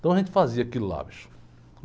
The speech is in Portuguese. Então a gente fazia aquilo lá, bicho.